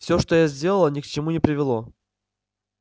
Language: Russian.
всё что я сделала ни к чему не привело